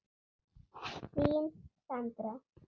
Þín, Sandra.